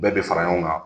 Bɛɛ bɛ fara ɲɔgɔn kan